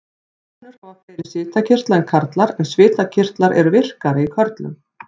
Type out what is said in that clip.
Konur hafa fleiri svitakirtla en karlar en svitakirtlar eru virkari í körlum.